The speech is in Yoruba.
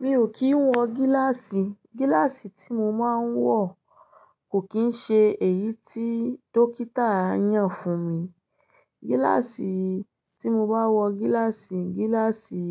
Mi ò kì ń wọ gíláàsì. Gíláàsì tí mo máa ń wọ̀ kò kín ń ṣe èyí tí dókítà yàn fún mi. Gíláàsì tí mo bá wọ gíláàsì, gíláàsì